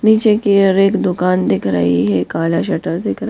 नीचे की और एक दुकान दिख रही है काला शटर दिख --